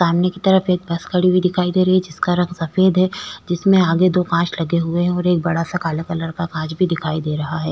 सामने की तरफ एक बस खड़ी हुई दिखाई दे रही है जिसका रंग सफेद है जिसमें आगे दो कांच लगे हुए हैं और एक बड़ा सा काला कलर का कांच भी दिखाई दे रहा है।